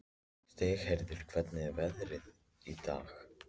Stígheiður, hvernig er veðrið í dag?